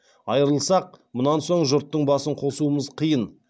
айрылсақ мұнан соң жұрттың басын қосуымыз қиын